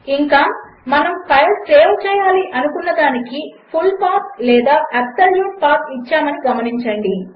ఇంకా మనము file save చేయాలని అనుకున్న దానికి ఫుల్ల్ పాత్ లేక అబ్సొల్యూట్ పాత్ ఇచ్చామని గమనించండి